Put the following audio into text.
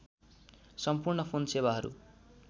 सम्पूर्ण फोन सेवाहरू